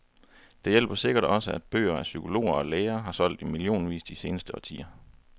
Det hjælper sikkert også, at bøger af psykologer og læger, har solgt i millionvis de seneste årtier.